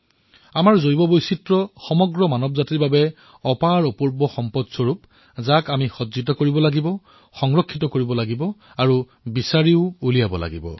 আমাৰ জৈৱ বৈচিত্ৰতাও সম্পূৰ্ণ মানৱতাৰ বাবে এক আচৰিত ভাণ্ডাৰ যাক আমি সন্ধান কৰিব লাগিব সংৰক্ষিত কৰিব লাগিব আৰু প্ৰচাৰো কৰিব লাগিব